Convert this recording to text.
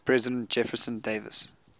president jefferson davis